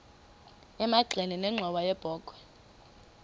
emagxeni nenxhowa yebokhwe